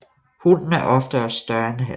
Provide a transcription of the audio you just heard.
Hunnen er ofte også større end hannen